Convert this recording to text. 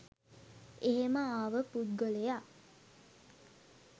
එහෙම ආව පුද්ගලයා